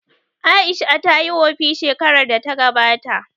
Aisha tayi wofi shekarar da ta gabata